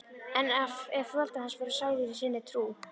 En ef foreldrar hans voru sælir í sinni trú.